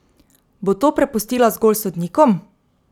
Bo to prepustila zgolj sodnikom?